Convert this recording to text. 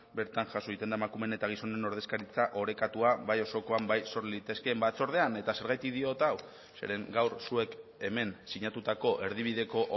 bertan jaso egiten da emakumeen eta gizonen ordezkaritza orekatua bai osokoan bai sor litezkeen batzordean eta zergatik diot hau zeren gaur zuek hemen sinatutako erdibideko